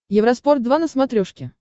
евроспорт два на смотрешке